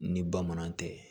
Ni bamanan tɛ